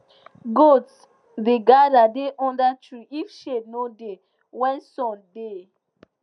goats da gather da under tree if shade no da when sun da